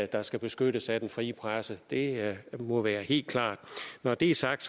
der skal beskyttes af den frie presse det må være helt klart når det er sagt